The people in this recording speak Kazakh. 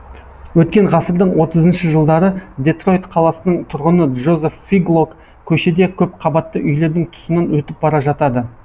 өткен ғасырдың отызыншы жылдары детройт қаласының тұрғыны джозеф фиглок көшеде көпқабатты үйлердің тұсынан өтіп бара жатады